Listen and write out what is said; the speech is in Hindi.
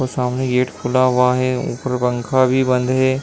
और सामने गेट खुला हुआ है। ऊपर पंखा भी बंद है।